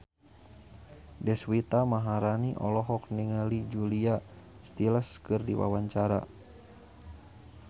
Deswita Maharani olohok ningali Julia Stiles keur diwawancara